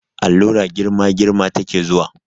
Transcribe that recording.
Allura girma girma ta ke zuwa